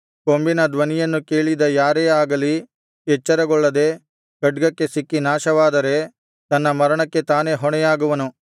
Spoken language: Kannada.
ಕೊಂಬಿನ ಧ್ವನಿಯನ್ನು ಕೇಳಿದ ಯಾರೇ ಆಗಲಿ ಎಚ್ಚರಗೊಳ್ಳದೆ ಖಡ್ಗಕ್ಕೆ ಸಿಕ್ಕಿ ನಾಶವಾದರೆ ತನ್ನ ಮರಣಕ್ಕೆ ತಾನೇ ಹೊಣೆಯಾಗುವನು